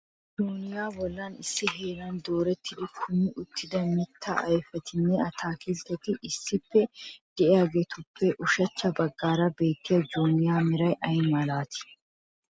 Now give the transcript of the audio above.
Joyniya bolla issi heeran doorettidi kumi uttida mitta ayfetinne atakiltteti issippe de'iyaagetuppe ushachcha bagaara bettiyaa joyniya meray ay malati ?